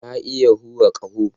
Na iya hura ƙaho